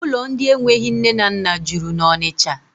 Ụlọ ndị enweghị nne na nna juru na Ọnịcha.